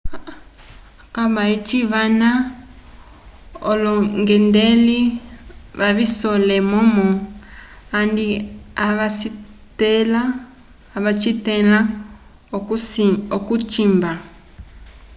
okuba eci vana olongendelei vacisole momo andi avacitela okucimba